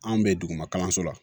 Anw bɛ duguma kalanso la